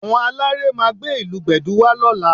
Àwọn aláré máa gbé ìlù Gbẹ̀du wá lọ́la